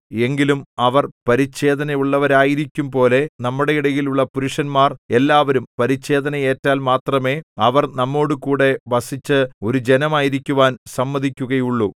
എങ്കിലും അവർ പരിച്ഛേദനയുള്ളവരായിരിക്കുംപോലെ നമ്മുടെയിടയിലുള്ള പുരുഷന്മാർ എല്ലാവരും പരിച്ഛേദന ഏറ്റാൽ മാത്രമേ അവർ നമ്മോടുകൂടെ വസിച്ച് ഒരു ജനമായിരിക്കുവാൻ സമ്മതിക്കുകയുള്ളു